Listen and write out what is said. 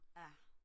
ja